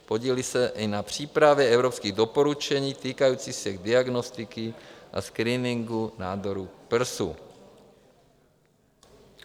Podílí se i na přípravě evropských doporučení týkajících se diagnostiky a screeningu nádoru prsu.